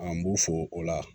An b'u fo o la